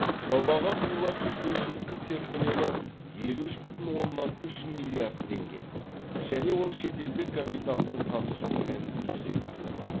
жобаға құйылатын инвестиция көлемі елу үш бүтін оннан үш миллиард теңге және ол шетелдік капиталдың қатысуымен жүзеге асырылады